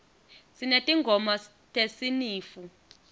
sinetingoma tesinifu